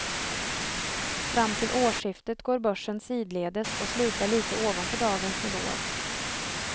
Fram till årsskiftet går börsen sidledes och slutar litet ovanför dagens nivåer.